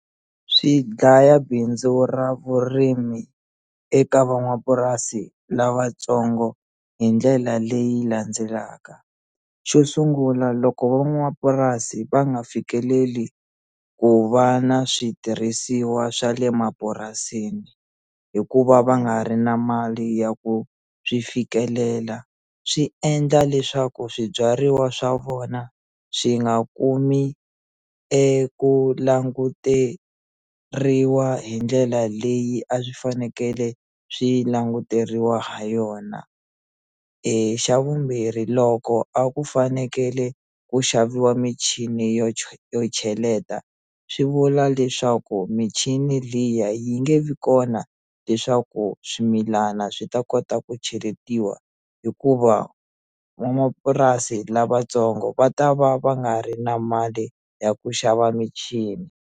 Swi dlaya bindzu ra vurimi eka van'wamapurasi lavatsongo hi ndlela leyi landzelaka xo sungula loko van'wamapurasi va nga fikeleli ku va na switirhisiwa swa le mapurasini hikuva va nga ri na mali ya ku swi fikelela swi endla leswaku swibyariwa swa vona swi nga kumi eku languteriwa hi ndlela leyi a swi fanekele swi languteriwa ha yona xa vumbirhi loko a ku fanekele ku xaviwa michini yo yo cheleta swi vula leswaku michini liya yi nge vi kona leswaku swimilana swi ta kota ku cheletiwa hikuva vamapurasi lavatsongo va ta va va nga ri na mali ya ku xava michini.